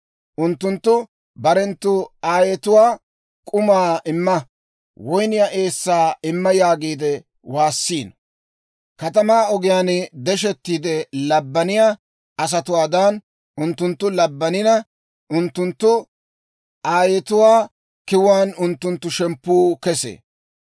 Unttunttu barenttu aayetuwaa, «K'umaa imma! Woynniyaa eessaa imma!» yaagiide waassiino. Katamaa ogiyaan deshettiide labbaniyaa asatuwaadan unttunttu labbanina, unttunttu aayetuwaa kiwuwaan unttunttu shemppuu kesee.